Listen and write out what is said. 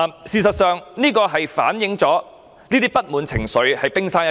這只是反映出不滿情緒的冰山一角。